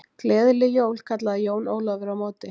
Gleðileg jól kallaði Jón Ólafur á móti.